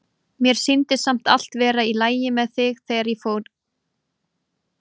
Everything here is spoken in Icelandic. Mér sýndist samt vera allt í lagi með þig þegar ég fór.